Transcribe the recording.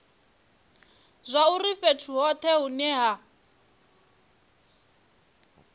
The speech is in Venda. zwauri fhethu hothe hune ha